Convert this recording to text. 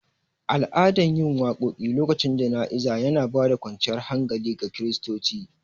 Al'adan yin waƙoƙi lokacin jana'iza yana bada kwanciyar hankali ga kiristoci